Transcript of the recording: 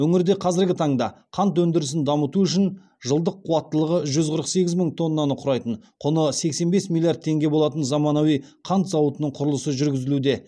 өңірде қазіргі таңда қант өндірісін дамыту үшін жылдық қуаттылығы жүз қырық сегіз мың тоннаны құрайтын құны сексен бес миллиард теңге болатын заманауи қант зауытының құрылысы жүргізілуде